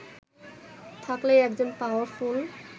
থাকলেই একজন পাওয়ারফুল